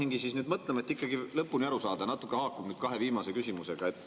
et ikkagi lõpuni aru saada, natukene haakub see kahe viimase küsimusega.